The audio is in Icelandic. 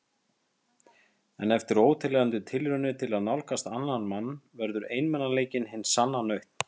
En eftir óteljandi tilraunir til að nálgast annan mann verður einmanaleikinn hin sanna nautn.